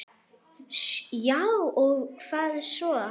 Já og hvað svo?